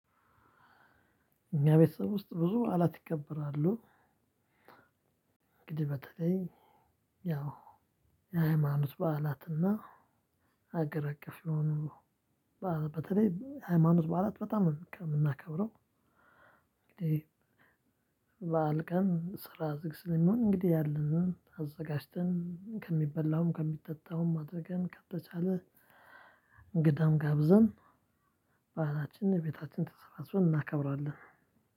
እኛ ቤተሰብ ውስጥ ብዙበዓላት ይከበራሉ። እንግዲህ በተለይ ያው የሃይማኖት በዓላትና አገር አቀፍ የሆኑ በዓላት በተለይ ሃይማኖት በአራት በጣም የምናከብረው። እንግዲህ በዓል ቀን ስራ ዝግ ስለሚሆን እንግዲህ ያለንን አዘጋጅተን ከሚበላውም ከሚጠጣውም አድርገን ከተቻለ እንግዳም ጋብዘን። ባህላችንን ቤታችን ተሰባስበን እናከብራለን።